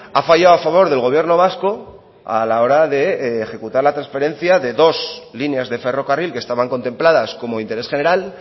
ha fallado a favor del gobierno vasco a la hora de ejecutar la transferencia de dos líneas de ferrocarril que estaban contempladas como interés general